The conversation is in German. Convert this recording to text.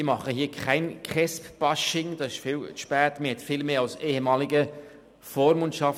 Ich mache hier kein KESB-Bashing, dafür ist es viel zu spät.